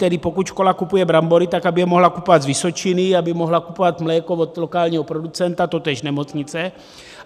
Tedy pokud škola kupuje brambory, tak aby je mohla kupovat z Vysočiny, aby mohla kupovat mléko od lokálního producenta, totéž nemocnice.